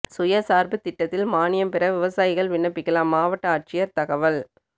சுயசாா்பு திட்டத்தில் மானியம் பெற விவசாயிகள் விண்ணப்பிக்கலாம் மாவட்ட ஆட்சியா் தகவல்